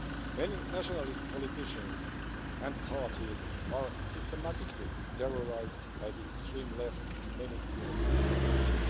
Many nationalist politicians and parties are systematically terrorised by the extreme left in many European countries.